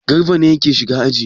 Garba ne yake shiga aji.